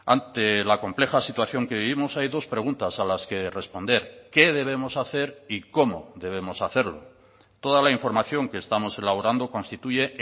ante la compleja situación que vivimos hay dos preguntas a las que responder qué debemos hacer y cómo debemos hacerlo toda la información que estamos elaborando constituye